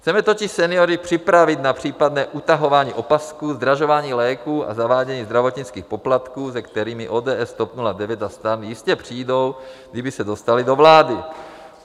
Chceme totiž seniory připravit na případné utahování opasků, zdražování léků a zavádění zdravotnických poplatků, se kterým ODS, TOP 09 a STAN jistě přijdou, kdyby se dostali do vlády.